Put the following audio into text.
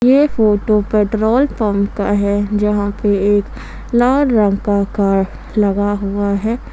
यह photo petrol pump का है यहां पे एक लाल रंग का कार लगा हुआ है।